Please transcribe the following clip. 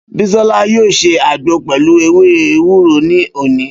Bísọ́lá yóò ṣe àgbo pẹlu ewé ewúro ní òní